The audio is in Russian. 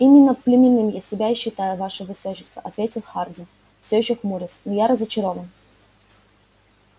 именно пленным я себя и считаю ваше высочество ответил хардин все ещё хмурясь но я разочарован